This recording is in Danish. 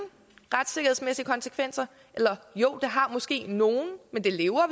retssikkerhedsmæssige konsekvenser eller jo det har måske nogle men det lever